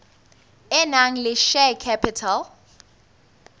e nang le share capital